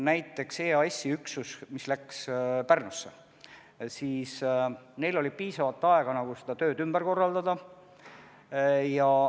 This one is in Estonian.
Näiteks EAS-i üksusel, mis läks Pärnusse, oli piisavalt aega oma tööd ümber korraldada.